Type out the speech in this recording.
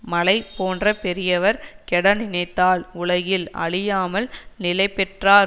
மலை போன்ற பெரியவர் கெட நினைத்தால் உலகில் அழியாமல் நிலைபெற்றாற்